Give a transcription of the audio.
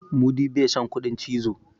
mudi ba San kuɗin cizo ba